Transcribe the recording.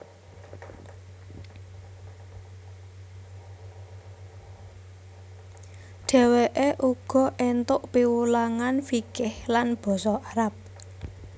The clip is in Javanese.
Dheweke uga entuk piwulangan fikih lan basa Arab